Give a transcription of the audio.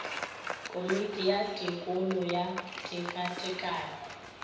komiti ya tekolo ya tekatekano